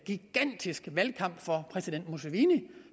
gigantisk valgkamp for præsident museveni